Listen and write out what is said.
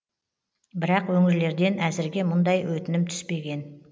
бірақ өңірлерден әзірге мұндай өтінім түспеген